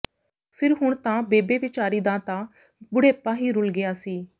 ਫਿਰ ਹੁਣ ਤਾਂ ਬੇਬੇ ਵਿਚਾਰੀ ਦਾ ਤਾਂ ਬੁੜ੍ਹੇਪਾ ਵੀ ਰੁਲ ਗਿਆ ਸੀ